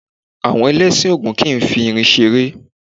Àwọn Ẹlẹ́sìn Ògún kìí fi irin ṣeré.